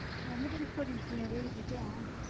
ਯਾਰ ਮੈਂ ਤੇਰੀ story ਸਟੂਰੀਆਂ ਵੇਖਦੀ ਤੇ ਹੈ